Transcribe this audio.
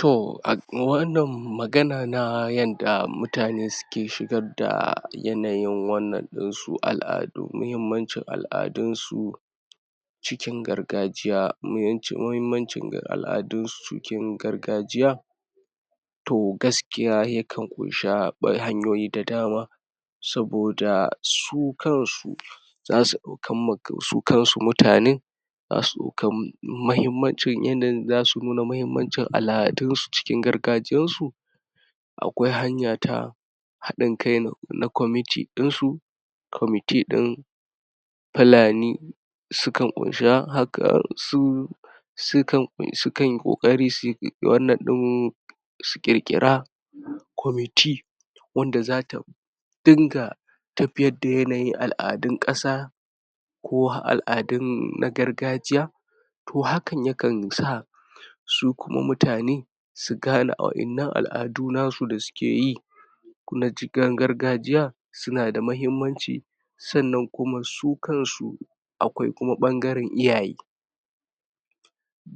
Toh a um wannan magana na yanda mutane suke ke shigar da yanayin wannan dinsu, al'adu, muhimmancin al'adunsu cikin gargajiya, mawancin muhimmancin al'adusu cikin gargajiya toh gaskiya yakan kunshi hanyoyi ta dama saboda su kansu za su ɗaukan ma su kansu mutane zasu ɗauki mahimmanci yanin zasu nuna mahimmancin al'adunsu cikin gargajiyansu akwai hanya ta haɗin kai na commity ɗinsu commity ɗin Fulani sukan ƙunshi haka su su sukan yi ƙokari su wanan ɗin su ƙirkira commity wanda zata dinga tafiyar da yanayin al'adun ƙasa ko har al'adun na gargajiya toh hakan yakan sa su kuma mutane su gane waƴannan al'adu nasu da sukeyi na jigan gargajiya suna da muhimmanci sannan kuma su kansu akwai kuma ɓangaren iyaye